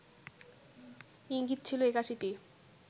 ইঙ্গিত ছিল ৮১টি